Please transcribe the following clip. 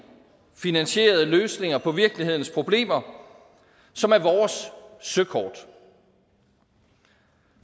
finansierede løsninger på virkelighedens problemer som er vores søkort